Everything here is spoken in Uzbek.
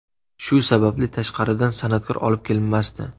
Shu sababli tashqaridan san’atkor olib kelinmasdi.